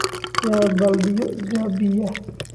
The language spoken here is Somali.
Yaa baaldiyo jabiyay?